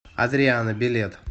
адриано билет